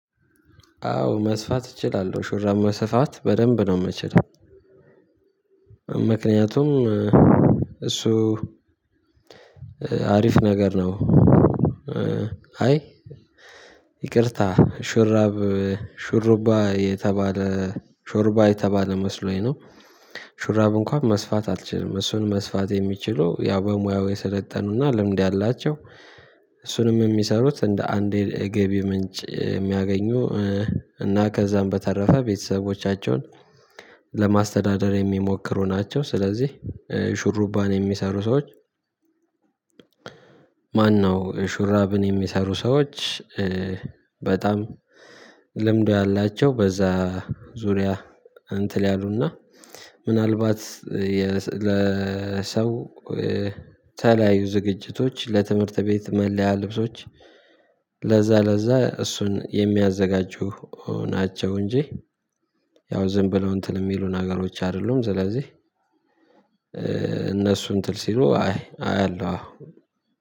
አዎ መስፋት እችላለሁ ሹራብ መስፋት በደንብ ነው የምችለው ምክንያቱም እሱ አሪፍ ነገር ነው። አይ ይቅርታ ሹርባ የተባለ ሹርባ የተባለ መስሎኝ ነው። ሹራብ እንኳን መስፋት አልችልም እሱን መስፋት የሚችሉ ያው በሙያው የሰለጠኑና ልምድ ያላቸው እሱንም የሚሰሩት እንደ አንድ የገቢ ምንጭ የሚያገኙ እና ከዛም በተረፈ ቤተሰቦቻቸውን ለማስተዳደር የሚሞክሩ ናቸው። ስለዚህ ሹርባን የሚሰሩ ሰዎች? ማነው ሹራብን የሚሰሩ ሰዎች? በጣም ልምዱ ያላቸው በዛ ዙሪያ እንትን ያሉና ምናልባት ለሰው የተለያዩ ዝግጅቶች ለትምህርት ቤት መለያ ልብሶች ለዛ ለዛ እሱን የሚያዘጋጁ ናቸው። እንጂ ያው ዝም ብለው እንትን የሚሉ ነገሮች አይደሉም። ስለዚህ እነሱም እንትን ሲሉ አይ አያለሁ